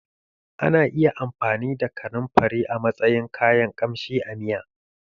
Ana iya amfani da kanunfari a matsayin kayan kamshi a miya